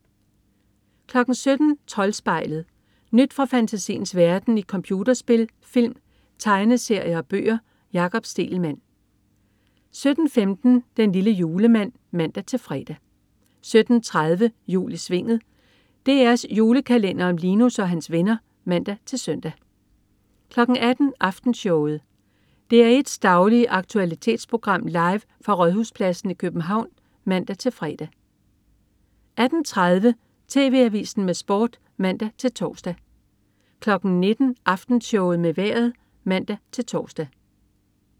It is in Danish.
17.00 Troldspejlet. Nyt fra fantasiens verden i computerspil, film, tegneserier og bøger. Jakob Stegelmann 17.15 Den lille julemand (man-fre) 17.30 Jul i Svinget. DR's julekalender om Linus og hans venner (man-søn) 18.00 Aftenshowet. DR1's daglige aktualitetsprogram, live fra Rådhuspladsen i København (man-fre) 18.30 TV Avisen med Sport (man-tors) 19.00 Aftenshowet med Vejret (man-tors)